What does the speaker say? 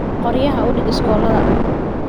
Qoryaha u dhig shooladda.